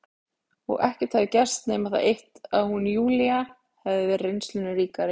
Og ekkert hefði gerst nema það eitt að hún, Júlía, hefði verið reynslunni ríkari.